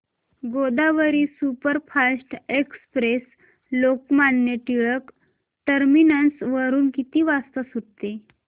Godavari superfast express Lokmanya Tilak terminus वरून किती वाजता सुटते